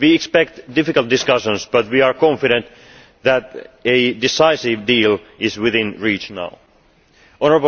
we expect difficult discussions but we are confident that a decisive deal is within reach now.